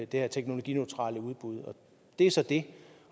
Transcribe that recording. det her teknologineutrale udbud og det er så det